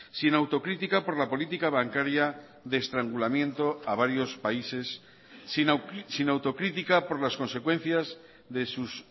sin autocrítica por la política bancaria de estrangulamiento a varios países sin autocrítica por las consecuencias de sus